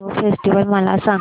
mango festival मला सांग